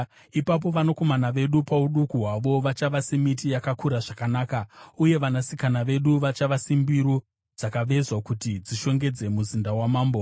Ipapo vanakomana vedu pauduku hwavo vachava semiti yakakura zvakanaka, uye vanasikana vedu vachava sembiru dzakavezwa kuti dzishongedze muzinda wamambo.